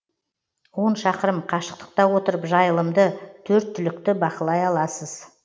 он шақырым қашықтықта отырып жайылымды төрт түлікті бақылай аласыз